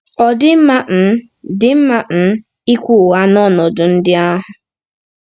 Ọ̀ dị mma um dị mma um ikwu ụgha n’ọnọdụ ndị ahụ?